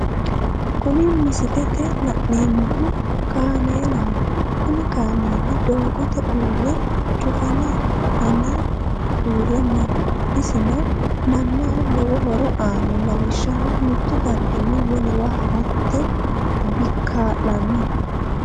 Kuni misilete la'neemohu kaameelaho, kuni kaameeli doogote uure cufana fane uure no, isino manaho lowo horo aano, lawishaho mitu darigini wolewa haratebkaalano